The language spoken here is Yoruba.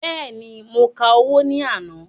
Bẹ́ẹ̀ni, mo ka owó ní àná.